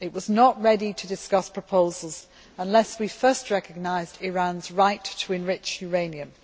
It was not ready to discuss our proposals unless we first recognised Iran's right to enrich uranium'.